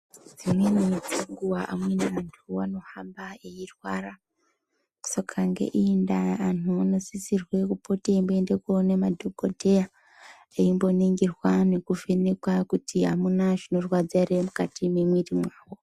Dzimweni dzenguwa amweni antu anohamba eirwara saka ngeiyi ndaa antu anosisirwe kupote imboende koone madhokodheya eimboningirwa nekuvhenekwa kuti amuna zvinorwadza ere mukati mwemwiri mwavo.